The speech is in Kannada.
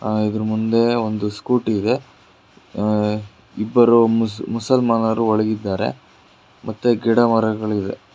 ಆ- ಇದರ ಮುಂದೆ ಒಂದು ಸ್ಕೂಟಿ ಇದೆ ಅ- ಇಬ್ಬರು ಮುಸ-ಮುಸಲ್ಮಾನರು ಒಳಗಿದ್ದಾರೆ ಮತ್ತೇ ಗಿಡ ಮರಗಳಿದೆ.